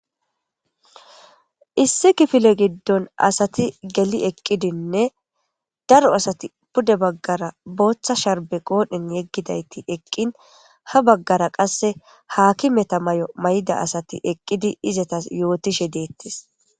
issi kifile giddon asati geli eqqidinne daro asati pude baggara booththa sharbe qoodhin yeggidayti eqqin ha baggara qasse haakimeta may7o mayda asati eqqidi izatas yootishe deettis